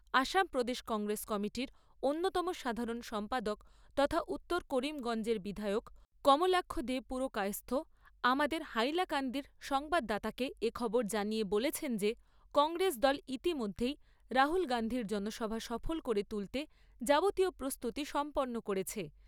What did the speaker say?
আসাম প্রদেশ কংগ্রেস কমিটির অন্যতম সাধারণ সম্পাদক তথা উত্তর করিমগঞ্জের বিধায়ক কমলাক্ষ দে পুরকায়স্থ আমাদের হাইলাকান্দির সংবাদদাতাকে এ খবর জানিয়ে বলেছেন যে কংগ্রেস দল ইতিমধ্যেই রাহুল গান্ধীর জনসভা সফল করে তুলতে যাবতীয় প্রস্তুতি সম্পন্ন করেছে।